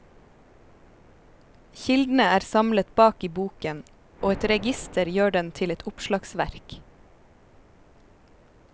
Kildene er samlet bak i boken, og et register gjør den til et oppslagsverk.